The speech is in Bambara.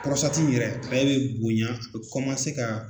pɔrɔsitati in yɛrɛ ale be bonya a be kɔmase ka